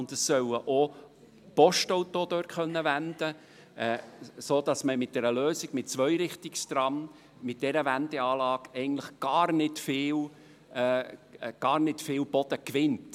Zudem sollen dort auch Postautos wenden können, sodass man mit einer Zweirichtungstram-Lösung und dieser Kehranlage im Grunde gar nicht viel Boden gewinnt.